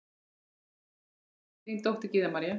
Þín dóttir, Gyða María.